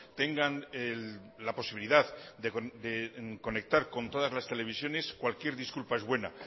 tengan la posibilidad de conectar con todas las televisiones cualquier disculpa es buena